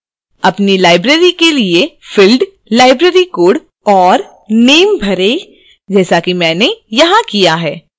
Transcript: अपनी library के लिए fields library code और name भरें जैसा कि मैंने यहां किया है